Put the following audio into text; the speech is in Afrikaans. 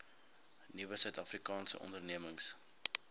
nuwe suidafrikaanse ondernemings